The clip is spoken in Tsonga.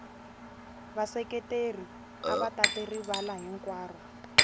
vaseketeri ava tate rivala hinkwaro